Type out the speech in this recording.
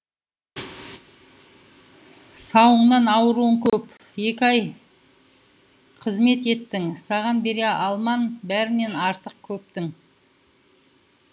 сауыңнан ауруың көп екі ай қызмет еттің ссаған бере алман бәрінен артық көптің